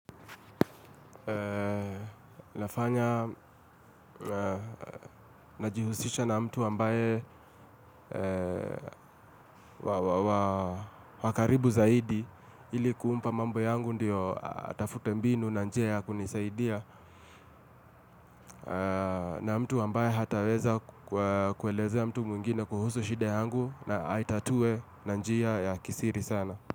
Nafanya najihusisha na mtu ambaye wa karibu zaidi ili kumpa mambo yangu ndo atafute mbinu na njia ya kunisaidia. Na mtu ambaye hataweza kuelezea mtu mwingine kuhusu shida yangu na aitatue na njia ya kisiri sana.